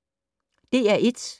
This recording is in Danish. DR1